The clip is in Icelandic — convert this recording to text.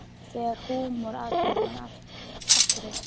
Þegar húmar að fer hann aftur á stjá.